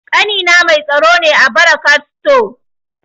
Ƙanina mai tsaro ne a barakat sto